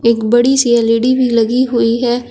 एक बड़ी सी एल_ई_डी भी लगी हुई है।